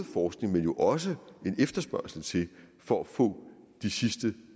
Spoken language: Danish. forskning men også en efterspørgsel til for at få de sidste